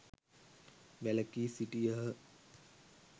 වැළකී සිටියහ.